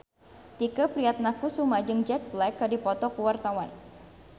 Tike Priatnakusuma jeung Jack Black keur dipoto ku wartawan